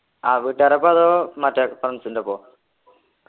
ആഹ് വീട്ടുകാരൊപ്പ അതോ മറ്റേ friends ൻ്റെ ഒപ്പൊ